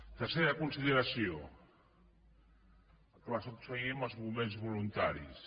tercera consideració que va succeir amb els bombers voluntaris